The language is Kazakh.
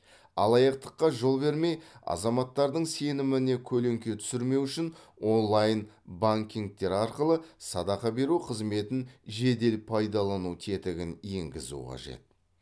алаяқтыққа жол бермей азаматтардың сеніміне көлеңке түсірмеу үшін онлайн банкингтер арқылы садақа беру қызметін жедел пайдалану тетігін енгізу қажет